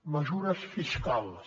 mesures fiscals